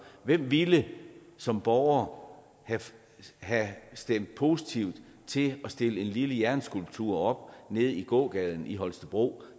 hvem ville som borger have stemt positivt til at stille en lille jernskulptur op nede i gågaden i holstebro